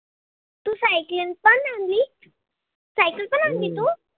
तू cycling पण आणल cycle पण आणली तू?